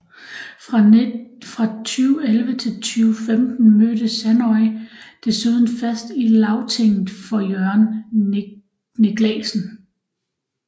Fra 2011 til 2015 mødte Sandoy desuden fast i Lagtinget for Jørgen Niclasen